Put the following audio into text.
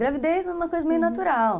Gravidez é uma coisa meio natural.